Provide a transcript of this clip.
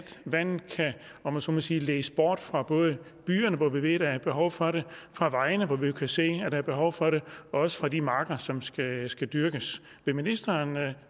vandet kan om jeg så må sige ledes bort fra både byerne hvor vi ved der er et behov for det fra vejene hvor vi jo kan se der er behov for det og også fra de marker som skal skal dyrkes vil ministeren